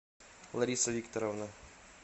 лариса викторовна